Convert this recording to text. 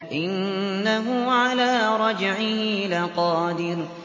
إِنَّهُ عَلَىٰ رَجْعِهِ لَقَادِرٌ